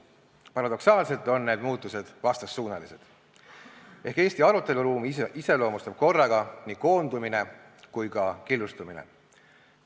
Paradoksaalselt on need muutused vastassuunalised ehk Eesti aruteluruumi iseloomustab korraga nii koondumine kui ka killustumine.